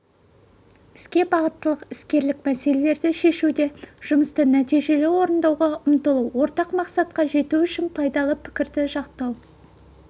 іске бағыттылық іскерлік мәселелерді шешуде жұмысты нәтижелі орындауға ұмтылу ортақ мақсатқа жету үшін пайдалы пікірді жақтау